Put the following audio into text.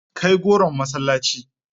Kai goron masallaci.